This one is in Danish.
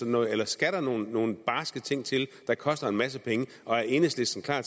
noget eller skal der nogle nogle barske ting til der koster en masse penge og er enhedslisten klar